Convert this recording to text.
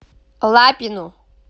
лапину